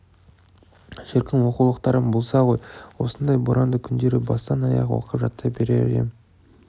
шіркін оқулықтарым болса ғой осындай боранды күндері бастан-аяқ оқып жаттай берер ем